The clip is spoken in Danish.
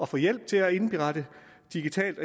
få hjælp til at indberette digitalt